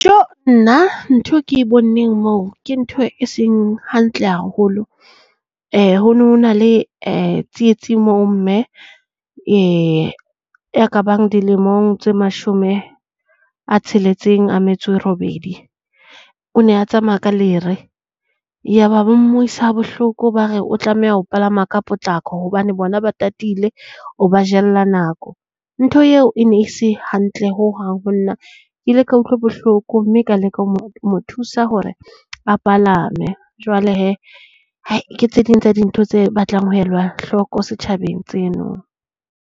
Nna ntho ke e boneng hoo ke ntho e seng hantle haholo. Ho no ho na le tsietsi mo mme e ka bang dilemong tse mashome a tsheletseng a metso e robedi. O ne a tsamaya ka lere yaba ba mmuisa ha bohloko ba re o tlameha ho palama ka potlako hobane bona ba tatile o ba jella nako. Ntho eo e ne se hantle hohang ho nna. Ke ile ka utlwa bohloko mme ka leka ho mo ho mo thusa hore a palame. Jwale hee hai ke tse ding tsa dintho tse batlang ho elwa hloko setjhabeng tseno.